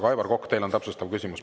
Aga, Aivar Kokk, teil on täpsustav küsimus.